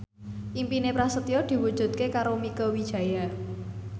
impine Prasetyo diwujudke karo Mieke Wijaya